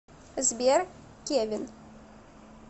сбер кевин